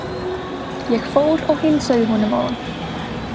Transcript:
Ég fór og heilsaði honum áðan.